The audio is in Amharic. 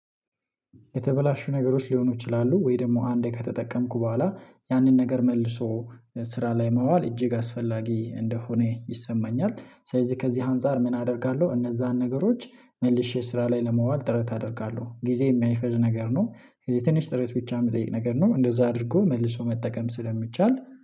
የተበላሹ ነገሮች ሊሆኑ ይችላሉ ወይ ደግሞ አንዴ ከተጠቀምኩ በኋላ ያንን ነገር መልሶ ስራ ላይ ማዋል እጅግ አስፈላጊ እንደሆነ ይሰማኛል። ስለዚህ ከዚህ አንፃር ምን አደርጋለሁ እነዛን ነገሮች መልሼ ስራ ላይ ለማዋል ጥረት አደርጋለሁ። ጊዜ የማይፈጅ ነገር ነው። ስለዚህ ትንሽ ጥረት ብቻ የምጠይቅ ነገር ነው። እንደዛ አድርጎ መልሶ መጠቀም ስለሚቻል